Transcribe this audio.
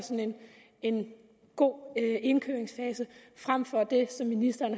en god indkøringsfase frem for det som ministeren